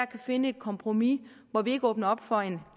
kan finde et kompromis hvor vi ikke åbner op for en